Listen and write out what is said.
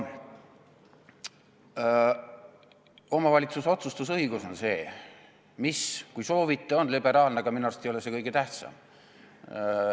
Omavalitsuse otsustusõigus on see, mis, kui soovite, on liberaalne, aga minu arust ei ole see kõige tähtsam.